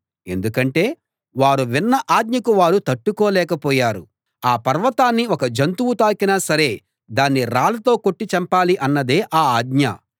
ఎందుకంటే వారు విన్న ఆజ్ఞకు వారు తట్టుకోలేకపోయారు ఆ పర్వతాన్ని ఒక జంతువు తాకినా సరే దాన్ని రాళ్ళతో కొట్టి చంపాలి అన్నదే ఆ ఆజ్ఞ